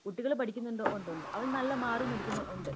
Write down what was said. കുട്ടികളും പഠിക്കുന്നുണ്ടോ ഒണ്ട് ഒണ്ട് അവരെ നല്ല മാർക്ക് മേടിക്കുന്നോ ഒണ്ട്